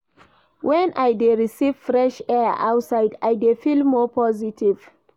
Wen I dey receive fresh air outside I dey feel more positive.